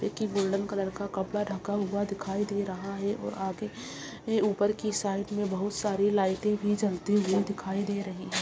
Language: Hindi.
--की गोल्डन कलर का कपड़ा ढका हुआ दिखाई दे रहा है और आगे मे ऊपर की साइड मे बहुत सारी लाइटे भी जलती हुई दिखाई दे रही है।